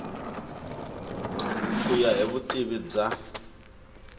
ku ya hi vutivi bya